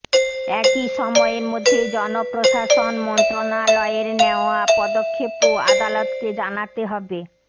একই সময়ের মধ্যে জনপ্রশাসন মন্ত্রণালয়ের নেয়া পদক্ষেপও আদালতকে জানাতে হবে